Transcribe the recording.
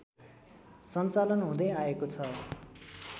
सञ्चालन हुँदै आएको छ